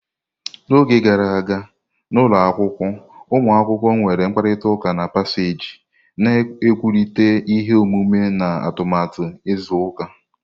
N'oge gara aga, n'ụlọ akwụkwọ, ụmụ akwụkwọ nwere mkparịta ụka na paseeji, na-ekwurịta ihe omume na atụmatụ izu ụka.